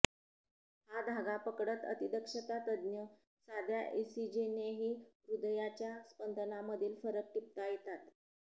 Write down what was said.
हा धागा पकडत अतिदक्षता तज्ज्ञ साध्या इसिजीनेही हृदयाच्या स्पदनांमधील फरक टिपता येतात